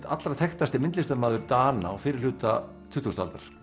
allra þekktasti myndlistarmaður Dana á fyrrihluta tuttugustu aldar